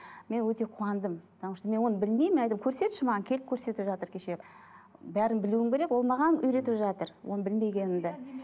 мен өте қуандым потому что мен оны білмеймін көрсетші маған келіп көрсетіп жатыр кеше бәрін білуім керек ол маған үйретіп жатыр оны білмегенімді